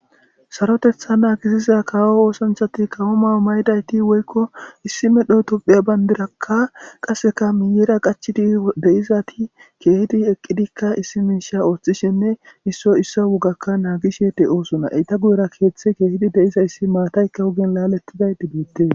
sarotetha naagisiza kaawo oosonthati kawo mayo maydayti woykko issi medho tuphiya bandirakka qasseka miyeera qachidi deyizati keehidi eqqidikka issi miisha ooththishinne isso isso wogakka naagishe de'osona, eta guyera keeththe keehidi de'izayssi maataykka wugen laalettiday beettes